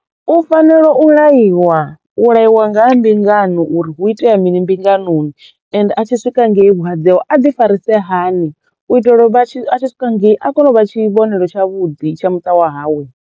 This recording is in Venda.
U fanelo u laiwa, u laiwa nga ha mbingano uri hu itea mini mbinganoni ende a tshi swika ngei vhuhadzi hawe a ḓi farise hani u itela vha tshi a tshi swika ngei a kono u vha tshivhonelo tshavhuḓi tsha muṱa wa hawe.